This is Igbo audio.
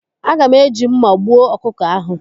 Aga m eji mma gbuo ọkụkọ ahụ.